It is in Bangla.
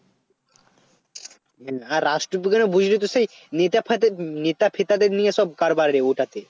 হ্যাঁ আর রাষ্ট্রবিজ্ঞানে বুঝলি তো সেই নেতা ফেতা নেতা ফেতাদের নিয়ে সব কারবার রে ওটাতে